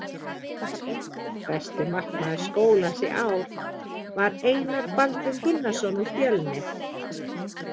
Besti markmaður skólans í ár var Einar Baldvin Gunnarsson úr Fjölnir.